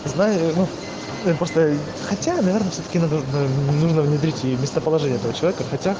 знаю ну блин просто хотя наверное все таки надо уж нужно внедрить и местоположение этого человека хотя